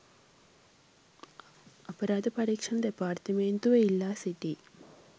අපරාධ පරීක්‍ෂණ දෙපාර්තමේන්තුව ඉල්ලා සිටියි